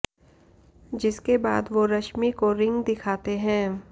जिसके बाद वो रश्मि को रिंग दिखाते हैं